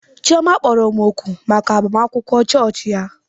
Chioma kpọrọ m òkù maka agbamakwụkwọ chọọchị ya.